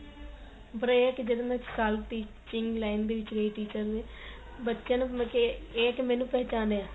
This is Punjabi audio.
break ਦੇ ਦਿੰਦੇ ਏ ਵਿੱਚ ਸਾਲ ਕ ਦੀ teaching line ਦੇ ਵਿੱਚ ਜਿਹੜੇ teacher ਨੇ ਬੱਚਿਆ ਨੂੰ ਇਹ ਕੀ ਮੈਨੂੰ ਪਹਿਚਾਣੇ